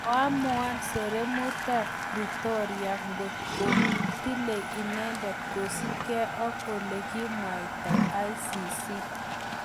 Koamuan sereemutap Pretoria ngot ko tilei inendet kosup ke ak olekomwaitaICC